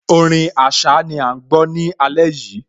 Orin Àṣá ni à ń gbọ́ ní alẹ́ yìí